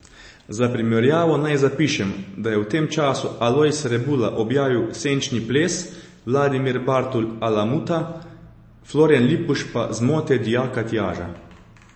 Za primerjavo naj zapišem, da je v tem času Alojz Rebula objavil Senčni ples, Vladimir Bartol Alamuta, Florjan Lipuš pa Zmote dijaka Tjaža.